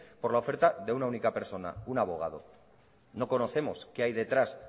por la oferta de una única persona un abogado no conocemos qué hay detrás